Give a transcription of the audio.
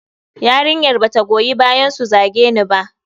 Yarinyar ba ta goyi bayansu su zage ni ba.